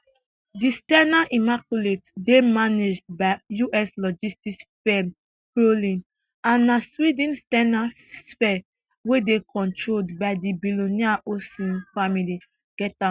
di s ten a immaculate dey managed by us logistics firm crowley and na sweden s ten a sphere wey dey controlled by di billionaire olsson family get am